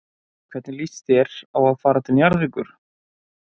Hvernig líst þér á að fara til Njarðvíkur?